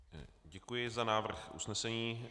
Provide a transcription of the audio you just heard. Děkuji za návrh usnesení.